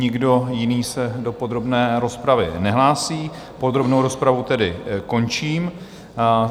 Nikdo jiný se do podrobné rozpravy nehlásí, podrobnou rozpravu tedy končím.